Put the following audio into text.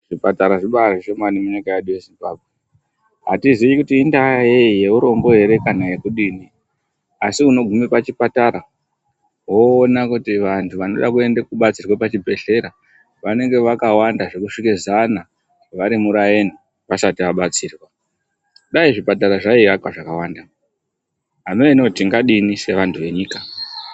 Zvipatara zvibaari zvishomani munyika yedu yezimbabwe. Atizii kuti indaa yei yeurombo here kana yekudini. Asi unoguma kuchipatara woona kuti andu anoda kudetserwa kuzvibhedhlera vanenge vakawanda zvekusvike zana vari muraini, vasati vabatsirwa. Dai zvipatara zvaiakwa zvakawanda, amenoo tingadini sevandu venyika.